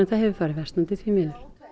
það hefur farið versnandi því miður